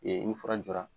ni fura jɔra